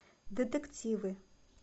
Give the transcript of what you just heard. детективы